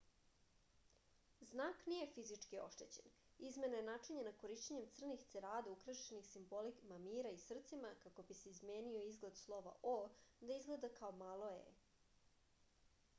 znak nije fizički oštećen izmena je načinjena korišćenjem crnih cerada ukrašenih simbolima mira i srcima kako bi se izmenio izgled slova o da izgleda kao malo e